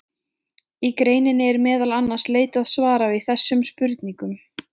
Í greininni er meðal annars leitað svara við þessum spurningum.